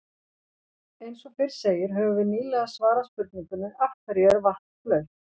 Eins og fyrr segir höfum við nýlega svarað spurningunni Af hverju er vatn blautt?